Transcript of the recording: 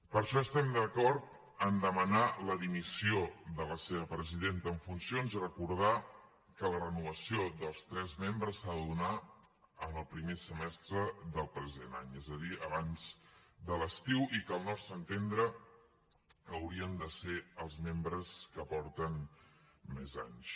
per això estem d’acord en demanar la dimissió de la seva presidenta en funcions i recordar que la renovació dels tres membres s’ha de donar en el primer semestre del present any és a dir abans de l’estiu i que al nostre entendre haurien de ser els membres que porten més anys